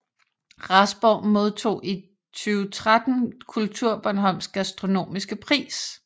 Rasborg modtog i 2013 KulturBornholms gastronomiske pris